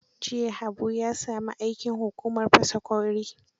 Jiya Haabu ya sami aikin hukumar fasa ƙwauri.